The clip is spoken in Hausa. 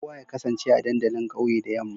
Kowa ya kasance a dandalin kauye da yamma.